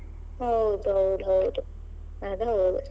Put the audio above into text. ಹೌದ್ ಹೌದ್ ಹೌದು ಅದ್ ಹೌದು.